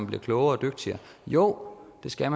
bliver klogere og dygtigere jo det skal